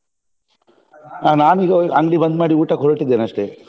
ಹಾ ನಾನೀಗ ಅಂಗ್ಡಿ ಬಂದ್ ಮಾಡಿ ಊಟಕ್ಕೆ ಹೊರಟಿದ್ದೇನೆ ಅಷ್ಟೇ.